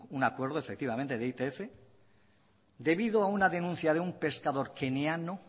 un acuerdo efectivamente de itf debido a una denuncia de un pescador keniano